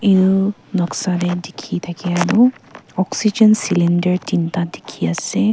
etu Noksa ti teki takai tu oxygen cylinder tenta teki ase.